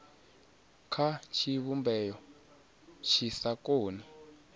kha tshivhumbeo tshi sa koni